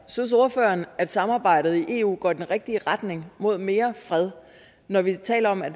synes ordføreren at samarbejdet i eu går i den rigtige retning mod mere fred når vi taler om at